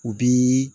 U bi